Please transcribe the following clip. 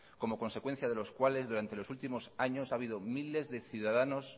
como consecuencia de los cuales durante los últimos años ha habido miles de ciudadanos